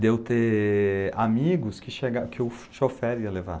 De eu ter amigos que o chofer ia levar.